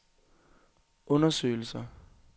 undersøgelser